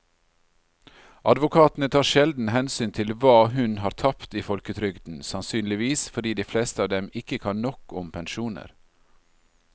Advokatene tar sjelden hensyn til hva hun har tapt i folketrygden, sannsynligvis fordi de fleste av dem ikke kan nok om pensjoner.